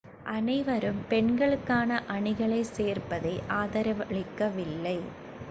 அனைவரும் பெண்களுக்கான அணிகளைச் சேர்ப்பதை ஆதரவளிக்கவில்லை